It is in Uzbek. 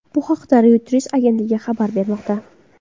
Bu haqda Reuters agentligi xabar bermoqda .